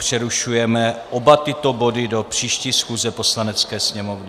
Přerušujeme oba tyto body do příští schůze Poslanecké sněmovny.